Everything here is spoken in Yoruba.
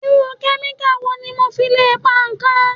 Irú kẹ́míkà wo ni mo fi le pa ikán?